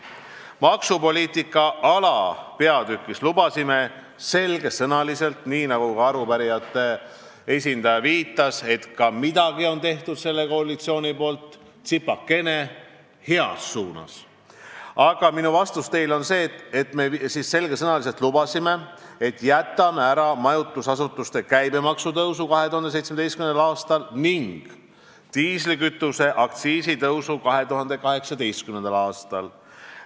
Maksupoliitika alapeatükis lubasime selge sõnaga – arupärijate esindaja viitas, et midagi, tsipakene on see koalitsioon ka heas suunas ära teinud –, et jätame ära majutusasutuste käibemaksu tõusu 2017. aastal ning diislikütuse aktsiisi tõusu 2018. aastal.